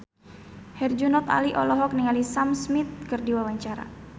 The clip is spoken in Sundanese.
Herjunot Ali olohok ningali Sam Smith keur diwawancara